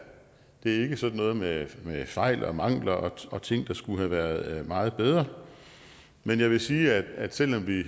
ikke sådan noget med fejl og mangler og ting der skulle have været meget bedre men jeg vil sige at selv om vi